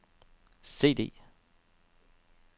CD